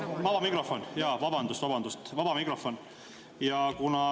Vaba mikrofon, jaa, vabandust-vabandust, vaba mikrofon.